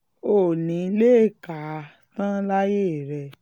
o ò ní í lè kà á tán láyé rẹ